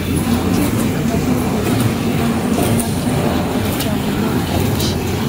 Nitie gik mang'eny e piny mangima ma ji ohero chamo mor kich.